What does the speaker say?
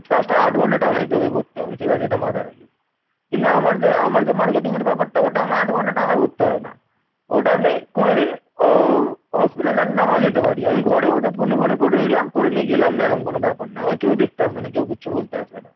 ওটা আমি কোনদিন অ hospital নাও যেতে পারি । আমি ঘরে বসে phone phone করে নিলাম করে নিয়ে গেলাম না এরাম কোন ব্যাপার না। আমাকেও দেখতে আসবে না কেউ কিছু বলতে আসবে না